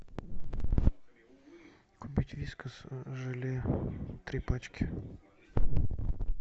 купить вискас желе три пачки